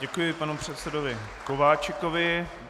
Děkuji panu předsedovi Kováčikovi.